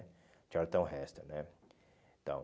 Charlton Heston, né? Então